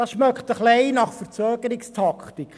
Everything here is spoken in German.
Dieser riecht ein wenig nach Verzögerungstaktik.